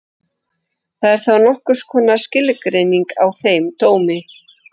Það er þá nokkurs konar skilgreining á þeim dómi.